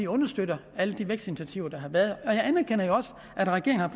understøtter alle de vækstinitiativer der har været jeg anerkender jo også at regeringen har